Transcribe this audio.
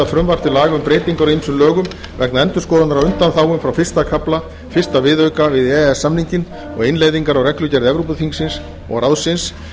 breytingar á ýmsum lögum vegna endurskoðunar á undanþágum frá fyrsta kafla fyrsta viðauka við e e s samninginn og innleiðingar á reglugerð evrópuþingsins og ráðsins